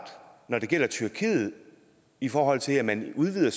når det gælder tyrkiet i forhold til at man udvider